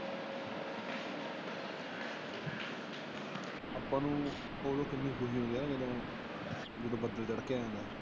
ਆਪਾ ਨੂੰ ਜਦੋ ਬੱਦਲ ਗੜ੍ਹਕਿਆ ਹੁੰਦਾ।